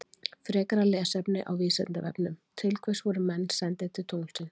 Frekara lesefni á Vísindavefnum Til hvers voru menn sendir til tunglsins?